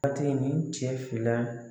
Waati nin cɛ fila